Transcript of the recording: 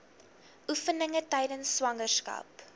oefeninge tydens swangerskap